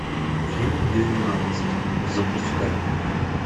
фильм двенадцать запускай